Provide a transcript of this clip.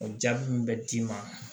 O jaabi min bɛ d'i ma